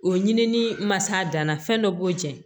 O ɲini ni masa danna fɛn dɔ b'o jɛn